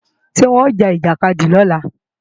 Ṣé wọn ó ja ìjàkadì lọ́la?